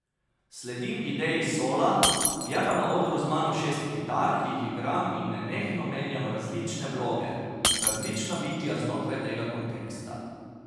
Sledim ideji sola, je pa na odru z mano šest kitar, ki jih igram in nenehno menjam različne vloge, različna bitja znotraj tega konteksta.